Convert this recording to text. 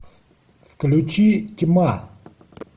включи тьма